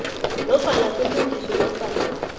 nofana kulungiswe nofana